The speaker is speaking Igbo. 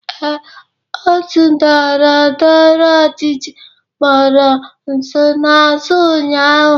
Ee, otu ndọrọndọrọ ọchịchị kpọrọ nsonaazụ ụnyaahụ.